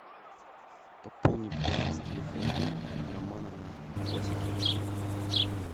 пополни баланс телефона романа на восемьсот рублей